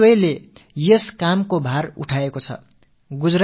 இதில் இரயில்வேயும் தனது பங்களிப்பை ஆற்றி வருகிறது